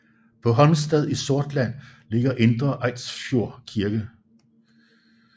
På Holmstad i Sortland ligger Indre Eidsfjord kirke